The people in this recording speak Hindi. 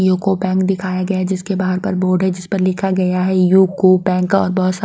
युको बैंक दिखाया गया है जिसके बाहर पर बोर्ड है जिस पर लिखा गया है यू को बैंक और बहुत सारे --